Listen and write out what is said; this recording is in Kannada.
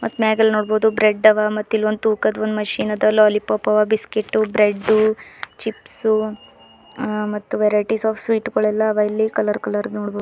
ಮ್ಯಾಗಲ್ಲಿ ನೋಡಬೋದು ಬ್ರೆಡ್ ಅವ ಮತ್ತ್ ಇಲ್ಲಿ ತೂಕದ ಒಂದ್ ಮಷೀನ್ ಅದ ಲೊಲಿಪೊಪ್ ಅವ ಬಿಕ್ಸಿಟು ಬ್ರೆಡು ಚಿಪ್ಸು ಅಹ್ ಮತ್ತ್ ವೇರೈಟಿ ಸ ಆಪ ಸ್ವೀಟ್ಸ್ ಎಲ್ಲಾ ಅವ ಇಲ್ಲಿ ಕಲರ್ ಕಲರ್ ನೋಡ್ಬೋದು.